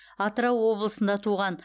атырау облысында туған